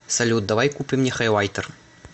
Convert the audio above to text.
салют давай купим мне хайлайтер